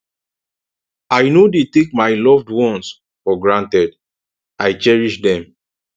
i no dey take my loved ones for granted i cherish dem